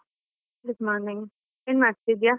Good morning , ಏನ್ಮಾಡ್ತಿದೀಯಾ?